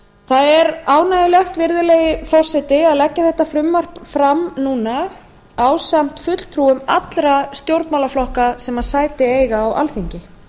það er ánægjulegt virðulegi forseti að leggja þetta frumvarp fram núna ásamt fulltrúum allra stjórnmálaflokka sem sæti eiga á alþingi